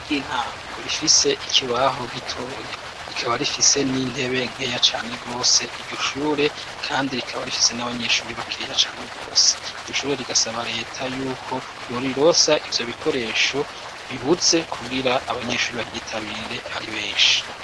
Ishure ry'intango rifise ikibaho gitoya rikaba rifise n'intebe nkeya cane rwose iryo shure kandi rikaba rifise n'abanyeshure bakeya cane rwose iryo shure rigasaba leta yuko borirosa ivyo bikoresho bibuze kugira abanyeshue baryitabire ari benshi.